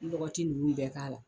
lɔgɔti ninnu bɛɛ k'a la